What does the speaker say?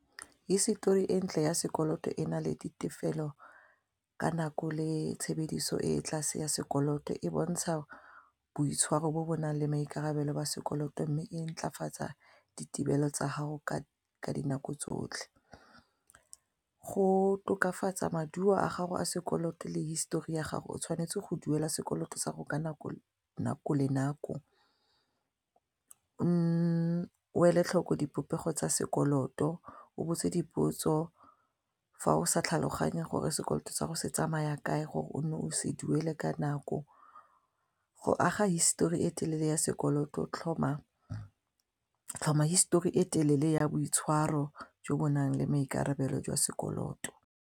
Hisetori e ntle ya sekoloto e na le ditefelo ka nako le tshebediso e tlase ya sekoloto e bontsha boitshwaro jo bo nang le maikarabelo ba sekoloto mme e ntlafatsa ditirelo tsa gago ka dinako tsotlhe, go tokafatsa maduo a gago a sekoloto le history ya gago o tshwanetse go duela sekoloto sa gago ka nako le nako o ele tlhoko dipopego tsa sekoloto o botse dipotso fa o sa tlhaloganye gore sekoloto sa go se tsamaya kae gore o nne o se duele ka nako, go aga histori e telele ya sekoloto tlhoma histori e telele ya boitshwaro jo bo nang le maikarabelo jwa sekoloto.